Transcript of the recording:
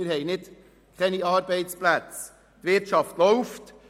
wir haben Arbeitsplätze, die Wirtschaft läuft.